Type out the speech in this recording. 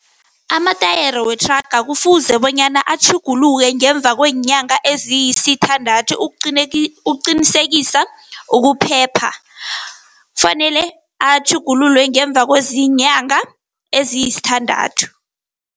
Amatayere wethraga kufuze bonyana atjhuguluke, ngemva kweenyanga eziyisithandathu ukuqinisekisa ukuphepha. Fanele atjhugululwe ngemva kweenyanga eziyisithandathu.